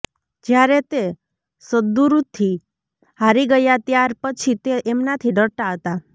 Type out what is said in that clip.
જ્યારે તે સદ્ગુરુથી હારી ગયા ત્યાર પછી તે એમનાથી ડરતા હતા